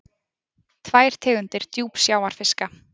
Tvær tegundir djúpsjávarfiska.